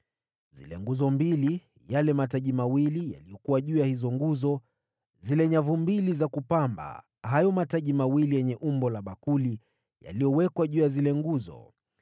zile nguzo mbili; yale mataji mawili yaliyokuwa juu ya hizo nguzo, zile nyavu mbili za kupamba hayo mataji mawili yenye umbo la bakuli yaliyowekwa juu ya zile nguzo;